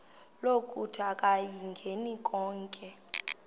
lokuthi akayingeni konke